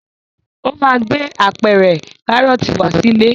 Ó máa gbé apẹ̀rẹ̀ Kárọ́tì wá sílé.